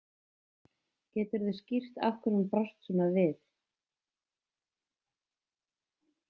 Geturðu skýrt af hverju hún brást svona við?